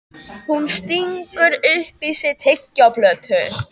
Hún stingur upp í sig tyggjóplötu.